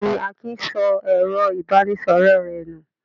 Bẹ́ẹ̀ ni, Akin sọ ẹ̀rọ-ìbánisọ̀rọ̀ rẹ̀ nù.